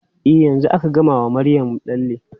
E, yanzu aka gama wa Maryam lalle.